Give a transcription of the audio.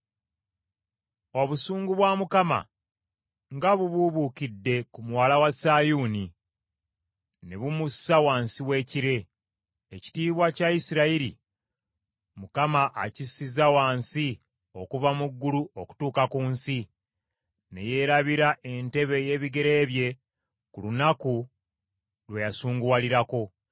Obusungu bwa Mukama nga bubuubuukidde ku Muwala wa Sayuuni ne bumussa wansi w’ekire! Ekitiibwa kya Isirayiri, Mukama akissizza wansi okuva mu ggulu okutuuka ku nsi; ne yeerabira entebe ey’ebigere bye ku lunaku lwe yasunguwalirako.